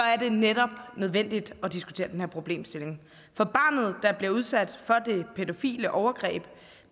er det netop nødvendigt at diskutere den her problemstilling for barnet der bliver udsat for det pædofile overgreb